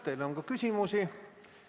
Teile on ka küsimusi.